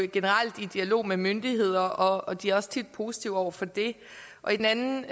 generelt i dialog med myndigheder og de er også tit positive over for det og i den anden